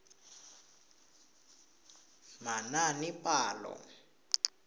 manaanepalo